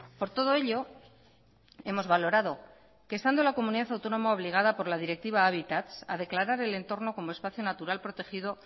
por todo ello hemos valorado que estando la comunidad autónoma obligada por la directiva hábitat a declarar el entorno como espacio natural protegido